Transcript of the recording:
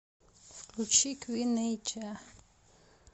включи куин нэйджа